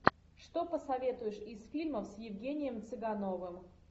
что посоветуешь из фильмов с евгением цыгановым